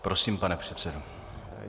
Prosím, pane předsedo.